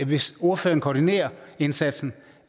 hvis ordføreren koordinerer indsatsen